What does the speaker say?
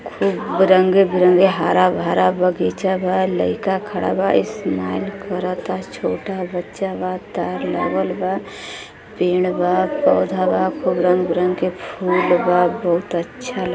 ई बिरंगे - बिरंगे हरा भरा बगीचा बा लईका खड़ा बा स्माइल करता छोटा बच्चा बा तार लगल बा पेड़ बा पोधा बा खूब रंग बिरंग के फुल बा। बहुत अच्छा लगत --